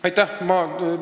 Aitäh!